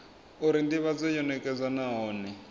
uri ndivhadzo yo nekedzwa nahone